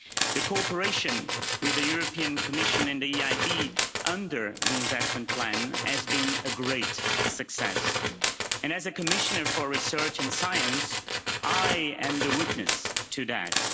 The cooperation with the European Commission and the EIB under the Investment Plan has been a great success, and as a Commissioner for Research and Science, I am the witness to that.